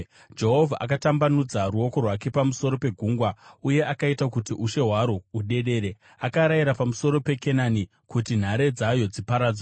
Jehovha akatambanudza ruoko rwake pamusoro pegungwa, uye akaita kuti ushe hwaro hudedere. Akarayira pamusoro peKenani, kuti nhare dzayo dziparadzwe.